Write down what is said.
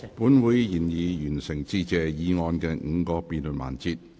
本會已完成致謝議案的5個辯論環節。